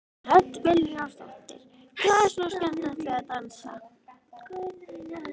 Hödd Vilhjálmsdóttir: Hvað er svona skemmtilegt við að dansa?